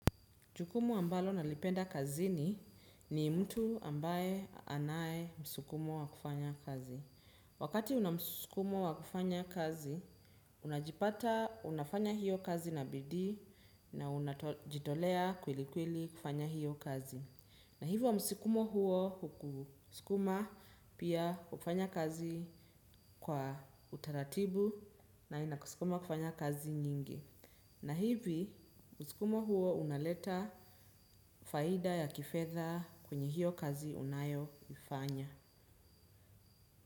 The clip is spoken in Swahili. Jukumu ambalo nalipenda kazini ni mtu ambaye anaye msukumo wa kufanya kazi. Wakati una msukumo wa kufanya kazi, unajipata unafanya hiyo kazi na bidii na unajitolea kwelikweli kufanya hiyo kazi. Na hivyo msukumo huo hukusukuma pia hufanya kazi kwa utaratibu na inakusukuma kufanya kazi nyingi. Na hivi, msukumo huo unaleta faida ya kifedha kwenye hio kazi unayoifanya.